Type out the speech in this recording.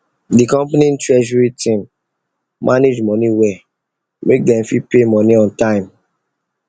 the company treasury team manage money well make dem fit pay money on time